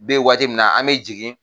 Bɛ yenwaati min na, an bɛ jigin